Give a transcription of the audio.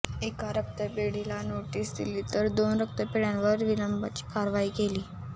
एका रक्तपेढीला नोटीस दिली तर दोन रक्तपेढ्यांवर निलंबनाची कारवाई केली